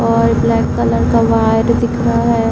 और black colour का wire दिख रहा है।